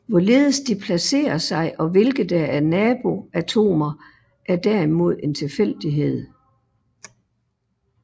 Hvorledes de placerer sig og hvilke der er nabo atomer er derimod en tilfældighed